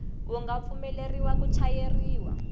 wu nga pfumeleriwa ku chayeriwa